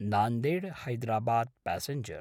नान्देड्–हैदराबाद् passenger